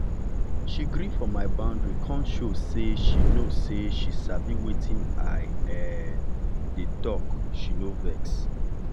she gree for my boundary kon show say she show say she sabi wetin i um dey talk she no vex.